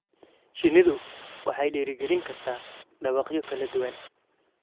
Shinnidu waxay dhiirigelin kartaa dhawaaqyo kala duwan.